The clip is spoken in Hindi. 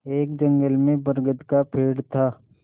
एक जंगल में बरगद का पेड़ था